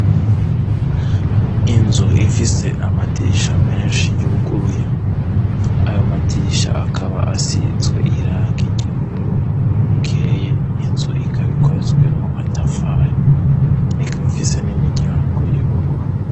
Inzu ifise amadirisha menshi yuguruye ayo madirisha akaba asizwe iranga iry'ubururu ukeye inzu ikabikozwe mu matafara ikabifise n'imiryango y'ubururu.